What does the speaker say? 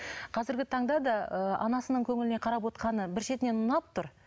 қазіргі таңда да ы анасының көңіліне қарап бір шетінен ұнап тұр